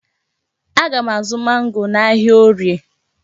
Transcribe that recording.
Aga m azụ mangoo n'ahịa Orie.